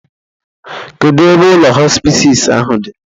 Kedu ebe ụlọ hospisis ahụ dị?